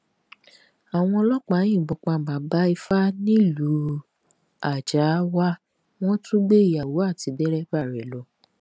àwọn ọlọpàá yìnbọn pa bàbá ifà nílùú àjáàwá wọn tún gbé ìyàwó àti dẹrẹbà rẹ lọ